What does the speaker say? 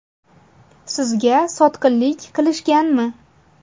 Sizga sotqinlik qilishganmi?